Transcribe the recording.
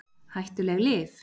Hættulegt lyf?